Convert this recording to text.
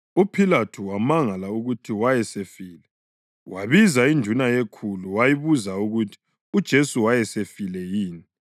UPhilathu wamangala ukuthi wayesefile. Wabiza induna yekhulu wayibuza ukuthi uJesu wayesefile yini.